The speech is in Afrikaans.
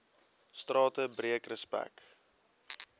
strate breek respek